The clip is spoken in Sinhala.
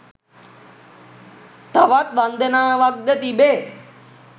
තවත් වන්දනාවක්ද තිබේ.